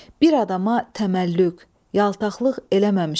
Bir adama təməllüq, yaltaqlıq eləməmişəm.